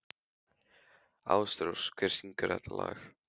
Ásrós, hver syngur þetta lag?